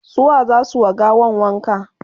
su wa zasu wa gawan wanka?